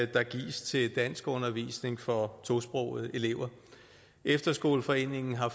der gives til danskundervisning for tosprogede elever efterskoleforeningen har